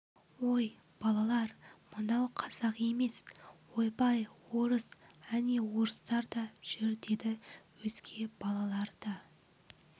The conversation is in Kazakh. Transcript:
ой балалар мынау қазақ емес ойбай орыс әне орыстар да жүр деді өзге балалар да